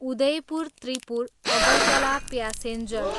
Udaipur Tripura, Agartala passenger